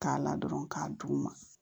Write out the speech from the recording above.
K'a la dɔrɔn k'a d'u ma